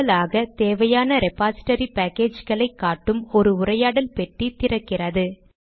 கூடுதலாக தேவையான ரெபாசிடரி பேக்கேஜ்களை காட்டும் ஒரு உரையாடல் பெட்டி திறக்கிறது